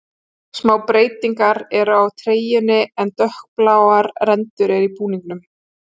Smá breytingar eru á treyjunni en dökkbláar rendur eru í búningnum.